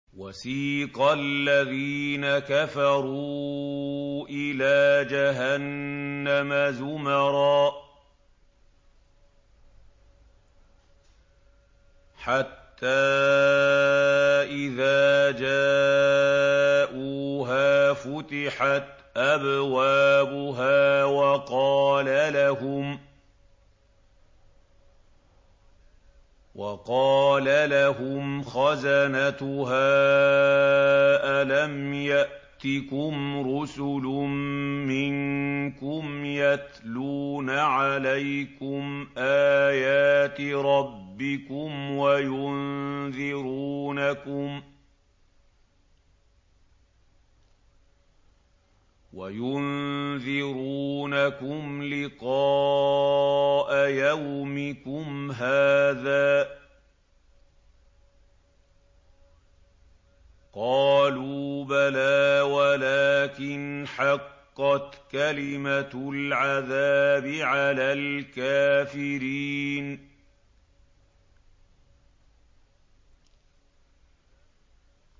وَسِيقَ الَّذِينَ كَفَرُوا إِلَىٰ جَهَنَّمَ زُمَرًا ۖ حَتَّىٰ إِذَا جَاءُوهَا فُتِحَتْ أَبْوَابُهَا وَقَالَ لَهُمْ خَزَنَتُهَا أَلَمْ يَأْتِكُمْ رُسُلٌ مِّنكُمْ يَتْلُونَ عَلَيْكُمْ آيَاتِ رَبِّكُمْ وَيُنذِرُونَكُمْ لِقَاءَ يَوْمِكُمْ هَٰذَا ۚ قَالُوا بَلَىٰ وَلَٰكِنْ حَقَّتْ كَلِمَةُ الْعَذَابِ عَلَى الْكَافِرِينَ